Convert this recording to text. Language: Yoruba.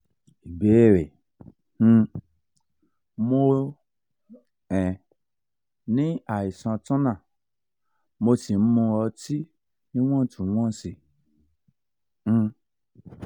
ìbéèrè um mo um ní àìsàn turner mo sì ń mu ọtí níwọ̀ntúnwọ̀nsì um